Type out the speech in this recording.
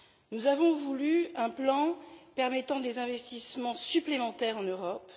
Nous avons voulu un plan permettant des investissements supplémentaires en Europe.